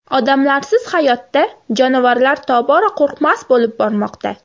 Odamlarsiz hayotda jonivorlar tobora qo‘rqmas bo‘lib bormoqda.